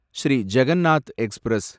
Sri Jagannath express